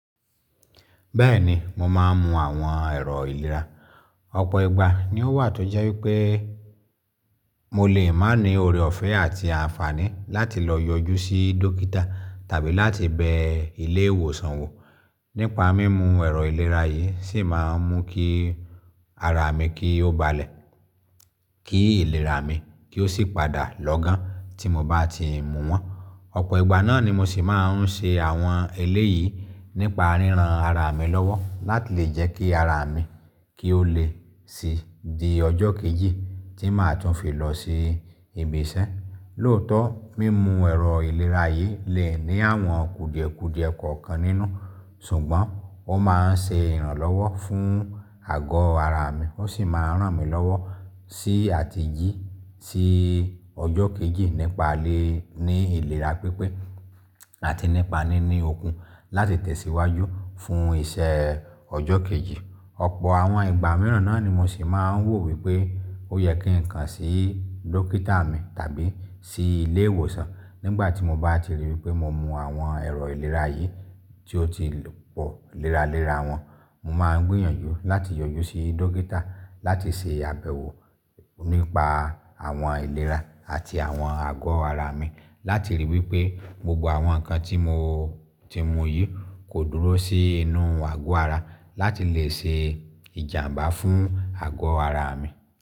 Bẹ́ẹ̀ni, mo máa ń mu àwọn ẹ̀rọ ìlera. Ọ̀pọ̀ ìgbà ni ó wà tó jẹ́ wípé mo lè má ní ore ọ̀fẹ́ àti àǹfààní láti lọ yọjú sí dókítà tàbí láti bẹ ilé ìwòsàn wò. Nípa mímu ẹ̀rọ ìlera yìí sì máa ń mú kí ara mi kí ó balẹ̀, kí ìlera mi kí ó sì padà lọ́gán tí mo bá ti mú wọn. Ọ̀pọ̀ ìgbà náà ni mo sì máa ń ṣe àwọn eléyìí nípa ríran ara mi lọ́wọ́ láti lè jẹ́ kí ara mi kí ó lè sì di ọjọ́ kejì tí màá tún fi lọ sí ibìṣẹ́. Lóòótọ́, mímu ẹ̀rọ ìlera yìí lè ní àwọn kùdìẹ̀ kùdìẹ̀ kọ̀ọ̀kan nínú. Ṣùgbọ́n ó máa ń ṣe ìrànlọ́wọ́ fún àgọ́ ara mi, ó sì máa ń ràn mí lọ́wọ́ sí àti jí sí ọjọ́ kejì nípa lé ní ìlera pípé àti nípa níní okun láti tẹ̀síwájú fún ìṣe ọjọ́ kejì. Ọ̀pọ̀ àwọn ìgbà mìíràn náà ni mo sì máa ń wò wípé ó yẹ kí n kan sí dókítà mi tàbí sí ilé ìwòsàn. Nígbà tí mo bá ti ríi wípé mo mu àwọn ẹ̀rọ ìlera yìí tí ó ti pọ̀ léra léra wọn, mo máa ń gbìyànjú láti yọjú sí dókítà láti se àbẹ̀wò nípa àwọn aìlera àti àwọn àgọ́ ara mi láti ríi wípé gbogbo àwọn nǹkan tí mo ti mu yìí kò dúró sí inú àgọ́ ara láti lè se ìjàǹbá fún àgọ́ ara mi.